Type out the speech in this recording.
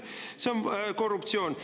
See on korruptsioon.